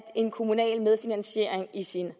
en kommunal medfinansiering i sin